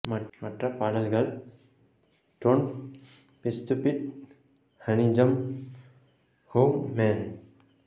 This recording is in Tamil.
மற்ற பாடல்கள் don't be stupid honey I'm home man